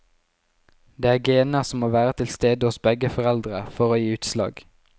Det er gener som må være til stede hos begge foreldre for å gi utslag.